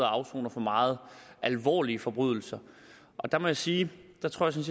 afsoner for meget alvorlige forbrydelser der må jeg sige